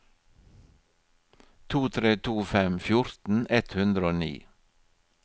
to tre to fem fjorten ett hundre og ni